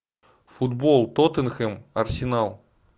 футбол тоттенхэм арсенал